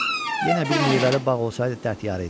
Yenə bir meyvəli bağ olsaydı dərd yarı idi.